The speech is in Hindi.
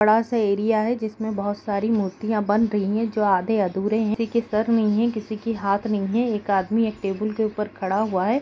बड़ा-सा एरिया है जिसमें बहुत सारी मूर्तियां बन रहीं हैं जो आधे-अधूरे हैं| किसी के सर नहीं है किसी की हाथ नहीं है एक आदमी एक टेबल के ऊपर खड़ा हुआ है।